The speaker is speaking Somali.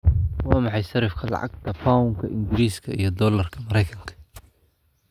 Waa maxay sarifka lacagta Pound-ka Ingiriiska iyo Doolarka Maraykanka?